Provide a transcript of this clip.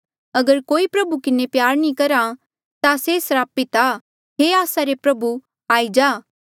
अगर कोई प्रभु किन्हें प्यार नी करहा ता से स्रापित आ हे आस्सा रे प्रभु आई जा